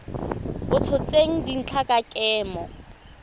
a tshotseng dintlha tsa kemo